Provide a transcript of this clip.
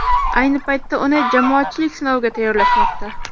Ayni paytda uni jamoatchilik sinoviga tayyorlashmoqda.